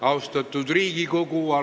Lugupeetud Riigikogu!